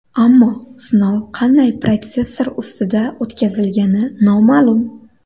Ammo sinov qanday protsessor ustida o‘tkazilgani noma’lum.